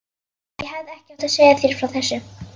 Ég hefði ekki átt að segja þér frá þessu